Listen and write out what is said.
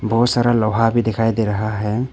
बहोत सारा लोहा भी दिखाई दे रहा है।